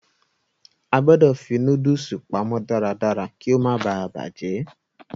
A gbọ̀dọ̀ fi nóódùsì pamọ́ darádará kí ó má baà bàjẹ́